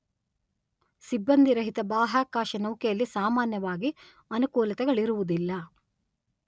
ಸಿಬ್ಬಂದಿರಹಿತ ಬಾಹ್ಯಾಕಾಶನೌಕೆಯಲ್ಲಿ ಸಾಮಾನ್ಯವಾಗಿ ಅನುಕೂಲತೆಗಳಿರುವುದಿಲ್ಲ.